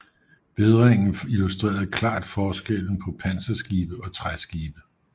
Vædringen illustrerede klart forskellen på panserskibe og træskibe